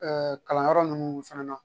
kalanyɔrɔ ninnu fɛnɛ na